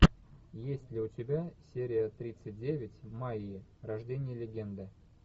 есть ли у тебя серия тридцать девять майи рождение легенды